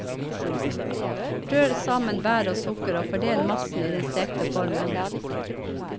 Rør sammen bær og sukker og fordel massen i den stekte formen.